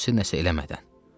Xüsusi nəsə eləmədən.